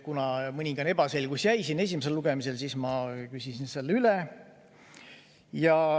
Kuna mõningane ebaselgus jäi esimesel lugemisel, siis ma küsisin selle üle.